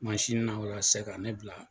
Masinin na walasa ka ne bila.